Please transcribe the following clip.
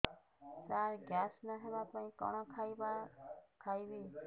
ସାର gas ନ ହେବା ପାଇଁ କଣ ଖାଇବା ଖାଇବି